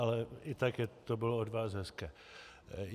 Ale i tak to bylo od vás hezké.